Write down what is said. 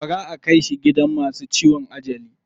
Bara aka kai shi gidan masu ciwon ajali.